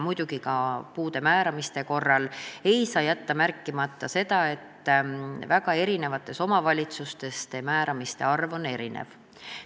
Muidugi ei saa puude määramise korral jätta märkimata seda, et omavalitsustes on määramiste arv erinev.